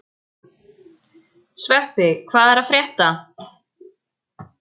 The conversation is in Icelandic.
Sveppi, hvað er að frétta?